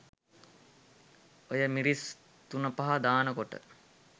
ඔය මිරිස් තුනපහ දානකොට